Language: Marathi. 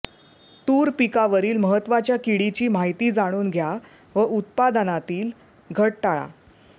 तूर पिकावरील महत्त्वाच्या किडीची माहिती जाणून घ्या व उत्पादनातील घट टाळा